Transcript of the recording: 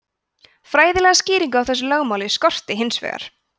fræðilega skýringu á þessu lögmáli skorti hins vegar